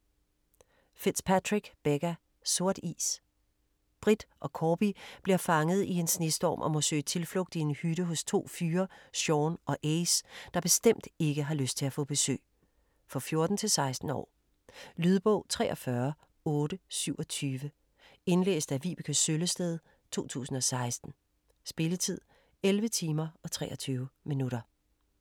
Fitzpatrick, Becca: Sort is Britt og Korbie bliver fanget i en snestorm og må søge tilflugt i en hytte hos to fyre, Shaun og Ace, der bestemt ikke har lyst til at få besøg. For 14-16 år. Lydbog 43827 Indlæst af Vibeke Søllested, 2016. Spilletid: 11 timer, 23 minutter.